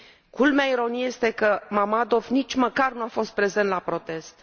Culmea ironiei este că Mammadov nici măcar nu a fost prezent la protest.